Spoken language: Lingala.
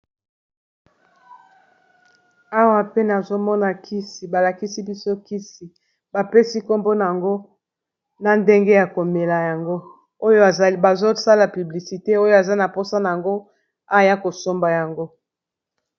Awa pe nazomona kisi balakisi biso kisi bapesi nkombo nango na ndenge ya komela yango oyo bazosala publicité oyo aza na mposana nango aya kosomba yango.